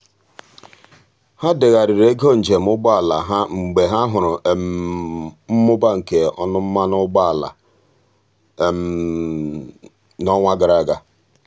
ha degharịrị ego njem ụgbọala ha mgbe ha hụrụ mmụba nke ọnụ mmanụ ụgbọala n'ọnwa gara aga.